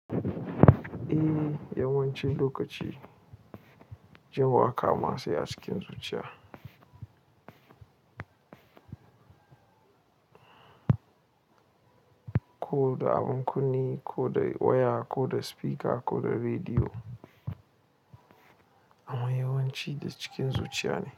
Eh yawancin lokaci, jin waƙa ma sai a cikin zuciya. Ko da abun kunne, ko da waya, ko da spika, ko da rediyo. Amaa yawanci da cikin zuciya ne.